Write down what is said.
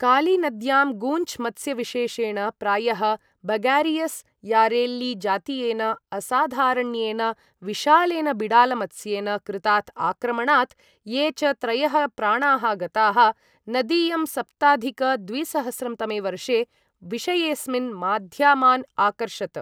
कालीनद्यां गूञ्च् मत्स्यविशेशेण, प्रायः बगारियस् यारेल्लि जातीयेन, असाधारण्येन विशालेन बिडालमत्स्येन कृतात् आक्रमणात् ये च त्रयः प्राणाः गताः नदीयं सप्ताधिक द्विसहस्रं तमे वर्षे विषयेअस्मिन् माध्यमान् आकर्षत्।